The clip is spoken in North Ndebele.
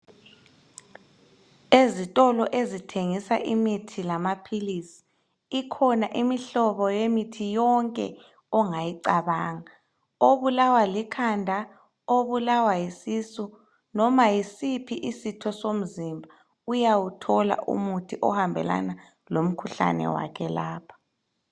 Ezitolo ezithengisa imithi lamaphilisi ikhona imihlobo yemithi yonke ongayicabanga obulawa likhanda, obulawa yisisu noma yiziphi usitho somzimba uyawuthola umuthi ohambelana lomkhuhlane wakhe lapha